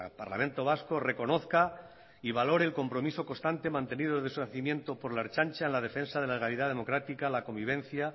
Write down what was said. parlamento vasco reconozca y valore el compromiso constante mantenido desde su nacimiento por la ertzaintza en la defensa de la legalidad democrática la convivencia